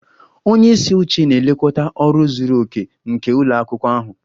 Onye isi oche na-elekọta ọrụ zuru oke nke ụlọ akwụkwọ ahụ